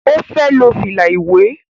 ọ fè ló fila iwẹ